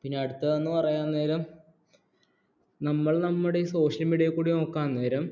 പിന്നെ അടുത്ത് എന്ന് പറയുന്ന നേരം നമ്മൾ നമ്മുടെ social media യിൽ കൂടി നോക്കാൻ നേരം